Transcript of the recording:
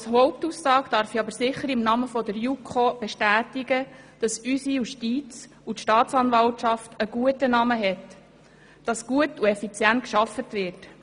Als Hauptaussage darf ich aber sicher im Namen der JuKo bestätigen, dass unsere Justiz und die Staatsanwaltschaft einen guten Ruf hat und dass gut und effizient gearbeitet wird.